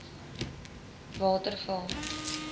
waterval